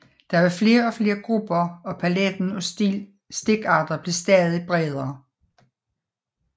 Der blev flere og flere grupper og paletten af stikarter blev stadig bredere